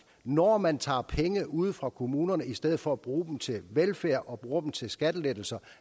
når man tager penge ude fra kommunerne i stedet for at bruge dem til velfærd og bruger dem til skattelettelser